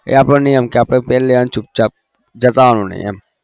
એ આપણો નિયમ છે પેરલેવાનું ચુપચાપ જતાવાનું નહિ એમ